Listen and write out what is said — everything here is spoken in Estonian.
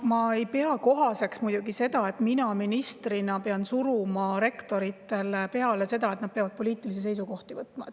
Ma muidugi ei pea kohaseks seda, et mina ministrina pean suruma rektoritele peale seda, et nad peavad poliitilisi seisukohti võtma.